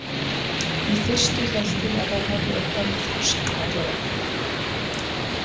Í fyrstu hélt ég að það hefði eitthvað með þroskann að gera.